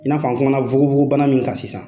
I n'a fɔ a kumana fogofogobana min kan sisan